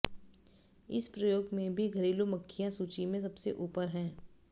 इस प्रयोग में भी घरेलू मक्खियां सूची में सबसे ऊपर हैं